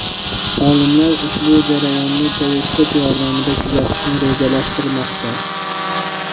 Olimlar ushbu jarayonni teleskop yordamida kuzatishni rejalashtirmoqda.